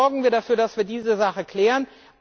Da sorgen wir dafür, dass wir diese Sache klären.